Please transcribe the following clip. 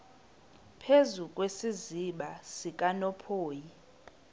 phezu kwesiziba sikanophoyi